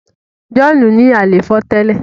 John ní àléfọ tẹlẹ.